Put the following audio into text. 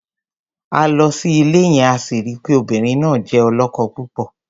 A lọ sí ilé yẹn, a sì ri pé obìnrin náà jẹ́ ọlọ́kọ-púpọ̀.